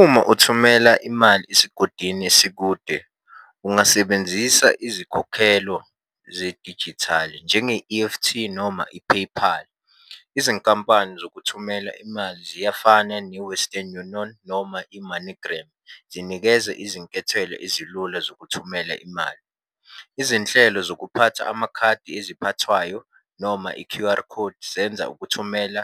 Uma uthumela imali esigodini esikude, ungasebenzisa izikhokhelo zedijithali njenge-E_F_T noma i-PayPal. Izinkampani zokuthumela imali ziyafana ne-Western Union noma i-MoneyGram. Zinikeza izinkethelo ezilula zokuthumela imali. Izinhlelo zokuphatha amakhadi eziphathwayo noma i-Q_R code zenza ukuthumela